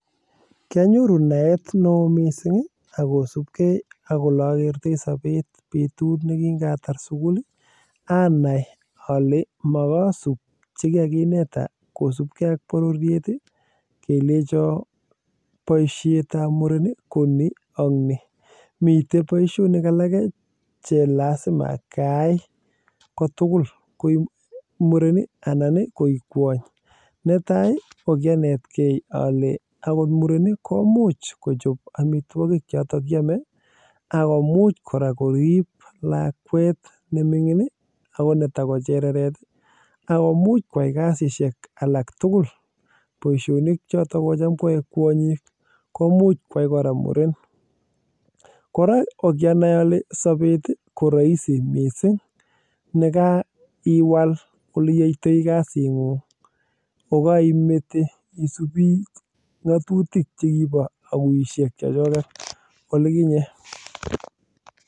Kianyoruu naet neo mising ak kosubge ak Ole akertoi sobet nekingatar sukul anai ale mokoi a sub Che kikakineta kosu ak bororyet kelenjon boisiet ab muren ko ni ak ni miten boisionik alage Che lazima ayae ko tugul koi muren ko ki anetegei ale ogot muren komuch kochob amitwogik choto chekiome ak ko much kora korib lakwet nemingin netako chereret ak ko much koyai kasisyek alak tugul boisionik choton ko Tam koyoe kwonyik komuch kwai kora muren kora ko kiamuch anai ale sobet ii ko roisi mising ye kaiwal Ole yoitoi kasingung ko korimete ngatutik chekibo aguisiek chechoget chekibo olikinye